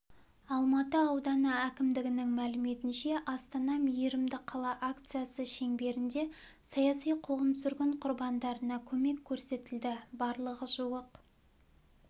алматы ауданы әкімдігінің мәліметінше астана мейірімді қала акциясы шеңберінде саяси қуғын-сүргін құрбандарына көмек көрсетілді барлығы жуық